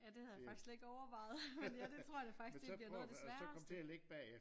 Ja det havde jeg faktisk slet ikke overvejet men ja det tror da faktisk det bliver noget af det sværeste